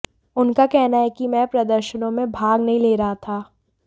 उनका कहना है कि मैं प्रदर्शनों में भाग नहीं ले रहा था